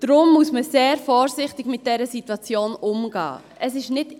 Deshalb muss man mit dieser Situation sehr vorsichtig umgehen.